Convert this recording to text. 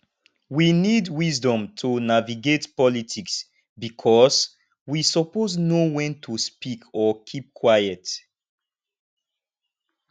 we need wisdom to navigate politics bicos we suppose know wen to speak or keep quiet